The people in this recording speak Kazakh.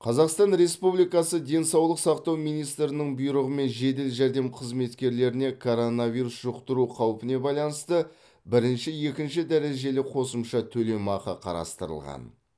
қазақстан республикасы денсаулық сақтау министрінің бұйрығымен жедел жәрдем қызметкерлеріне коронавирус жұқтыру қаупіне байланысты бірінші екінші дәрежелі қосымша төлемақы қарастырылған